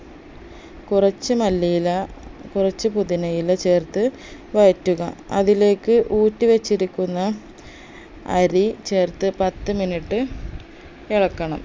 കുറച്ച് മല്ലിയില കുറച്ച് പുതിനയില ചേർത്ത് വഴറ്റുക അതിലേക്ക് ഊറ്റിവെച്ചിരിക്കുന്ന അരി ചേർത്ത് പത്ത് minute ഇളക്കണം